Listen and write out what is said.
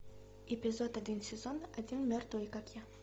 эпизод один сезон один мертвые как я